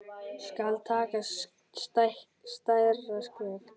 Skal taka stærra skref?